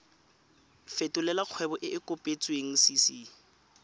fetolela kgwebo e e kopetswengcc